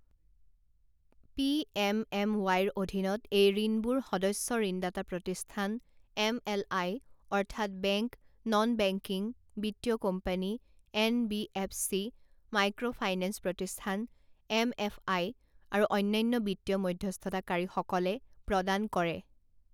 PMMY ৰ অধীনত এই ঋণবোৰ সদস্য ঋণদাতা প্ৰতিষ্ঠান এমএলআই, অৰ্থাৎ বেংক, নন বেংকিং বিত্তীয় কোম্পানী এনবিএফচি, মাইক্ৰ ফাইনেঞ্চ প্ৰতিষ্ঠান এমএফআই আৰু অন্যান্য বিত্তীয় মধ্যস্থতাকাৰীসকলে প্ৰদান কৰে।